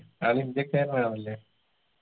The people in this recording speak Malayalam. ആൾ ഇന്ത്യക്കാരനാണല്ലെ